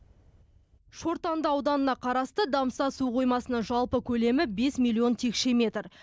шортанды ауданына қарасты дамса су қоймасының жалпы көлемі бес миллион текше метр